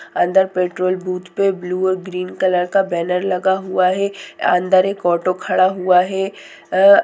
अंदर petrol booth पे blue और गिरिन कलर का बैनर लगा हुआ है अंदर एक ऑटो खड़ा हुआ है। अ--